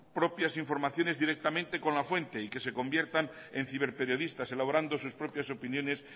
propias informaciones directamente con la fuente y que se conviertan en ciberperiodistas elaborando sus propias opiniones